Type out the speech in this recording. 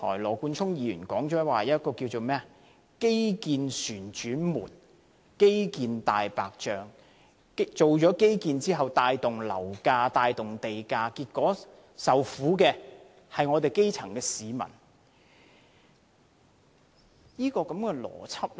羅冠聰議員提到所謂"基建旋轉門"及"大白象"基建項目，說進行基建後帶動樓價和地價上升，結果受苦的是基層市民。